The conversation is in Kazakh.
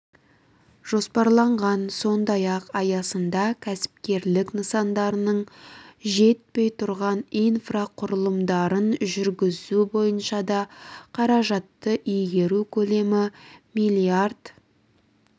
жоспарланған сондай-ақ аясында кәсіпкерлік нысандарының жетпей тұрған инфрақұрылымдарын жүргізу бойынша да қаражатты игеру көлемі миллард